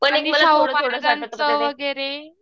महाराजांचं वगैरे.